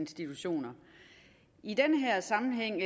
en sammenhæng